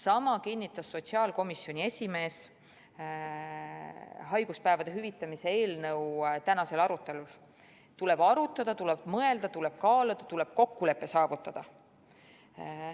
Sama kinnitas sotsiaalkomisjoni esimees haiguspäevade hüvitamise eelnõu tänasel arutelul: tuleb arutada, tuleb mõelda, tuleb kaaluda, tuleb kokkulepe saavutada.